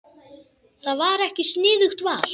Það var ekki sniðugt val.